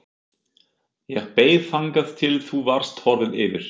Ég beið þangað til þú varst horfinn yfir